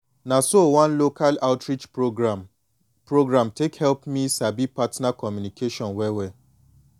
na so one local outreach program program take help me sabi partner communication well well